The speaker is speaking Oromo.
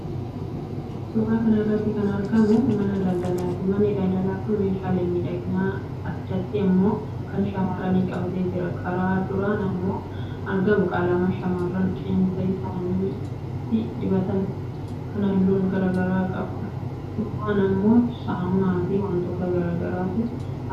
Suuraa kana irratti kan argamu mana daldalaati. Manni daldalaa kun meeshaalee miidhaginaa, addatti immoo kan shamarranii qabatee jira. Karaa duraan kan argamu qalama shamarran qeensa isaaniitti dibatan kan halluu garaa garaa qabuudha. Duubaan immoo saamunaafi wantoota garaagaraatu mul'ata.